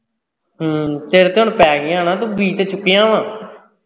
ਹਮ ਸਿਰ ਤੇ ਹੁਣ ਪੈ ਗਈਆ ਨਾ ਤੂੰ ਬੀਤ ਚੁੱਕਿਆ ਵਾ।